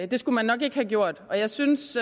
det skulle man nok ikke have gjort og jeg synes